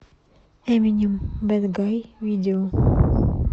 эминем бэд гай видео